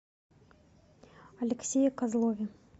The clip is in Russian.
алексее козлове